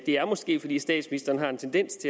er måske fordi statsministeren har en tendens